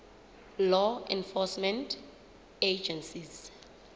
law enforcement agencies